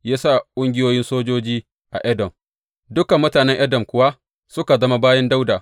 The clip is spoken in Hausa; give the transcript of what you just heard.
Ya sa ƙungiyoyin sojoji a Edom, dukan mutanen Edom kuwa suka zama bayin Dawuda.